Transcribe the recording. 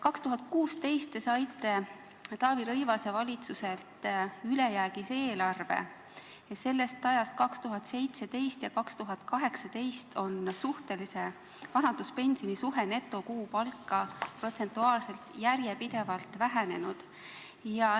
2016. aastal te saite Taavi Rõivase valitsuselt ülejäägis eelarve ja sellest ajast, 2017 ja 2018, on suhtelise vanaduspensioni suhe netokuupalka protsentuaalselt järjepidevalt vähenenud.